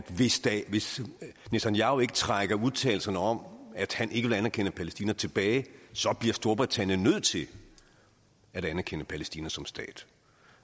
hvis netanyahu ikke trækker udtalelserne om at han ikke vil anerkende palæstina tilbage så bliver storbritannien nødt til at anerkende palæstina som stat